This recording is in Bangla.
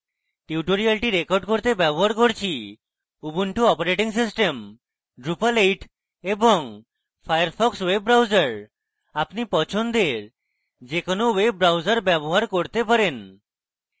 tutorial record করতে ব্যবহার করছি: উবুন্টু অপারেটিং সিস্টেম drupal 8 এবং ফায়ারফক্স ওয়েব ব্রাউজার আপনি পছন্দের যে কোনো ওয়েব ব্রাউজার ব্যবহার করতে পারেন